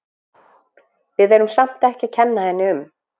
Við erum samt ekki að kenna henni um.